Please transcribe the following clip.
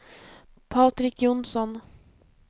Patrik Johnsson